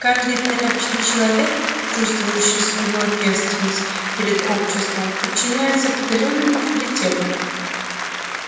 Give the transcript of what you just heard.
каждый порядочный человек чувствующий свою ответственность перед обществом подчиняется определённым авторитетам